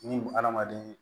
Ni hadamaden